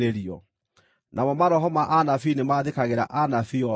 Namo maroho ma anabii nĩmathĩkagĩra anabii o ene.